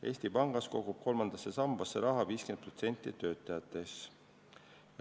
Eesti Pangas kogub kolmandasse sambasse raha 50% töötajatest.